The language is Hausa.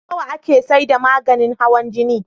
Nawa ake saida maganin hawan jini?